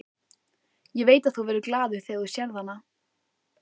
Ég veit að þú verður glaður þegar þú sérð hana.